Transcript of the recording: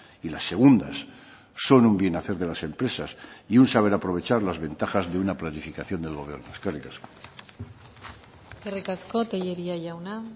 y las segundas son un bien hacer de las empresas y un saber aprovechar las ventajas de una planificación del gobierno eskerrik asko eskerrik asko tellería jauna